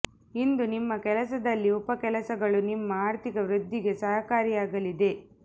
ಇಂದು ನಿಮ್ಮ ಕೆಲಸದಲ್ಲಿ ಉಪ ಕೆಲಸಗಳು ನಿಮ್ಮ ಆರ್ಥಿಕ ವೃದ್ಧಿಗೆ ಸಹಕಾರಿಯಾಗಲಿದೆ